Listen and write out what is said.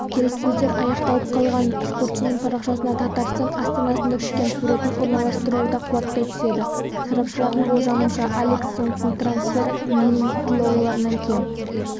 келлісөздер аяқталып қалғанын спортшының парақшасына татарстан астанасында түскен суретін орналастыруы да қуаттай түседі сарапшылардың болжамынша алекс сонгтің трансферы миллин долларынан кем